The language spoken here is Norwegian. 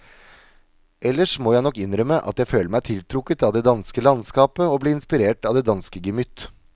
Ellers må jeg nok innrømme at jeg føler meg tiltrukket av det danske landskap og blir inspirert av det danske gemytt.